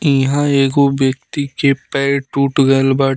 इहां एगो व्यक्ति के पैर टूट गइल बा।